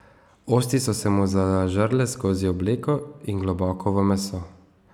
Osti so se mu zažrle skozi obleko in globoko v meso.